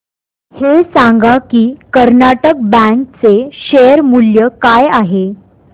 हे सांगा की कर्नाटक बँक चे शेअर मूल्य काय आहे